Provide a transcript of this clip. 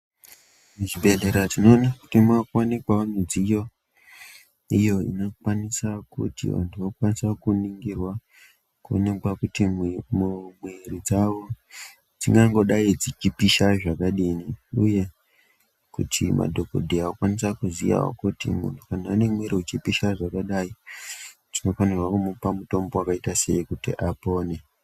Muzvibhehlera tinoona kuti mwakuonekawo midziyo iyo inokwanisa kuti vantu vokwanisa kuringirwa kuonekwa kuti mwiri dzawo dzingangodai dzichipisha zvakadini uye kuti madhokodheya okwanisa kuziya kuti kana muntu ane mwiri uchipisha zvakadai tinofanirwa kumupa mutombo wakaita sei kuti apone.